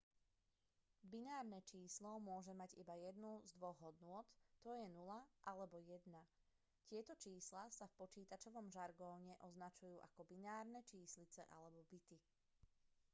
binárne číslo môže mať iba jednu z dvoch hodnôt t.j. 0 alebo 1. tieto čísla sa v počítačovom žargóne označujú ako binárne číslice alebo bity